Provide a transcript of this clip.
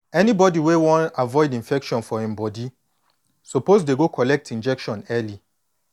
anybody wey wan avoid infection for em body suppose dey go collect injection early